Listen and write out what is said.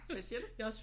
Hvad siger du